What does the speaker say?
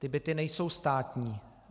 Ty byty nejsou státní.